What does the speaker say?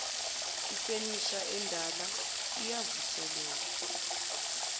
ifenisha endala iyavuselelwa